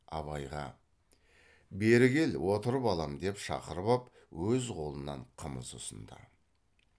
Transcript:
абайға бері кел отыр балам деп шақырып ап өз қолынан қымыз ұсынды